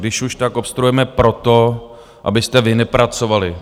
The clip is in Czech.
Když už, tak obstruujeme proto, abyste vy nepracovali.